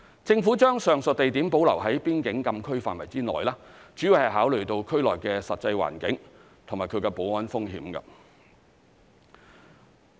政府將上述地點保留在邊境禁區範圍內，主要是考慮到區內的實際環境及其保安風險。